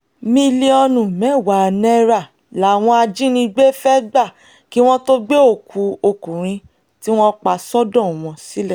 mílíọ̀nù mẹ́wàá náírà làwọn ajínigbé fẹ́ẹ́ gbà kí wọ́n tóó gbé òkú ọkùnrin tí wọ́n pa sọ́dọ̀ wọn sílẹ̀